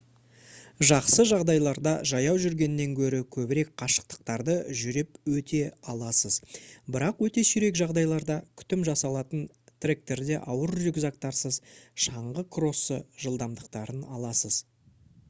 жақсы жағдайларда жаяу жүргеннен гөрі көбірек қашықтықтарды жүріп өте аласыз бірақ өте сирек жағдайларда күтім жасалатын тректерде ауыр рюкзактарсыз шаңғы кроссы жылдамдықтарын аласыз